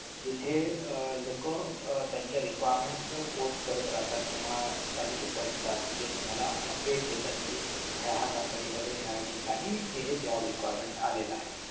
जिथे लोकं आह त्यांच्या requirements post करत राहतात किंवा काही लोकं असतात जे तुम्हाला updates देतात कि ह्या ह्या company मध्ये ह्या ह्या ठिकाणी हे हे job requirement आलेलं आहे